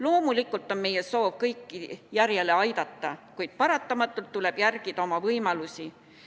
Loomulikult on meie soov kõiki järjele aidata, kuid paratamatult tuleb järgida oma võimalusi.